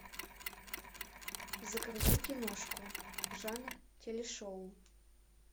загрузи киношку жанр телешоу